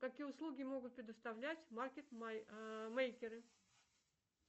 какие услуги могут предоставлять маркет мейкеры